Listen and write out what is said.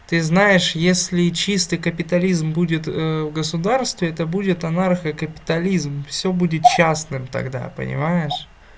ты знаешь если чистый капитализм будет в государстве это будет анархо-капитализм всё будет частным тогда понимаешь